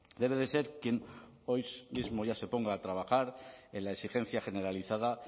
debe de ser quien hoy mismo ya se ponga a trabajar en la exigencia generalizada